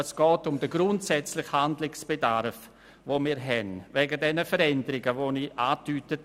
Vielmehr geht es grundsätzlich um den aufgrund der vorhin angesprochenen Veränderungen bestehenden Handlungsbedarf.